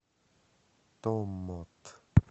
томмот